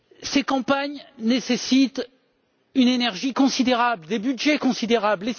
Ces campagnes nécessitent une énergie considérable, des budgets considérables.